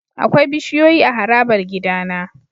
Akwai bishiyoyi a harabar gidana.